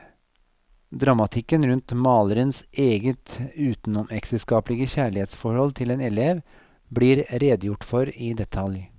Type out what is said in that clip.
Dramatikken rundt malerens eget utenomekteskapelige kjærlighetsforhold til en elev, blir redegjort for i detalj.